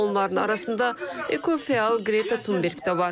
Onların arasında ekofəal Qreta Tunberq də var.